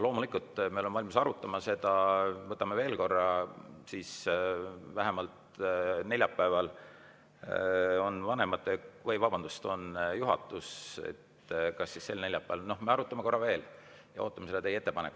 Loomulikult, me oleme valmis seda arutama, võtame veel korra, neljapäeviti on juhatuse, nii et kas sel neljapäeval me arutame korra veel ja ootame teie ettepanekut.